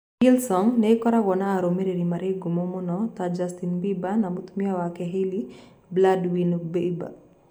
Hillsong nĩ ĩkoragwo na arũmĩrĩri marĩ ngumo mũno ta: Justin Bieber na mũtumia wake Hailey Baldwin Bieber.